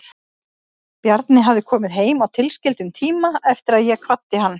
Bjarni hafði komið heim á tilskildum tíma eftir að ég kvaddi hann.